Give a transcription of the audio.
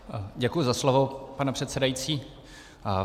Děkuji za slovo, pane předsedající.